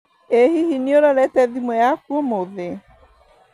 ĩ hihi nĩũrorete thimũ yaku ũmũthĩ